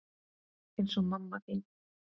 Eins og mamma þín.